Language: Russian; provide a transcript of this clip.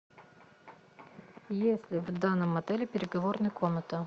есть ли в данном отеле переговорная комната